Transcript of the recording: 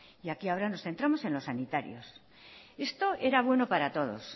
y aquí ahora nos centramos en los sanitarios esto era bueno para todos